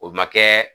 O ma kɛ